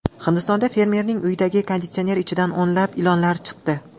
Hindistonda fermerning uyidagi konditsioner ichidan o‘nlab ilonlar chiqdi.